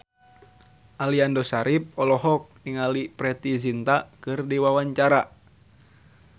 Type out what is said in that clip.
Aliando Syarif olohok ningali Preity Zinta keur diwawancara